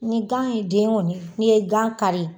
Ni gan ye den kɔni, n'i ye gan kari.